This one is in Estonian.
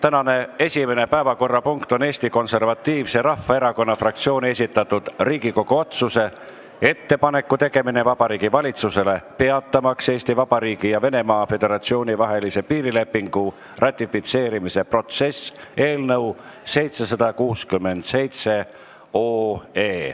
Tänane esimene päevakorrapunkt on Eesti Konservatiivse Rahvaerakonna fraktsiooni esitatud Riigikogu otsuse "Ettepaneku tegemine Vabariigi Valitsusele peatamaks Eesti Vabariigi ja Venemaa Föderatsiooni vahelise piirilepingu ratifitseerimise protsess" eelnõu 767.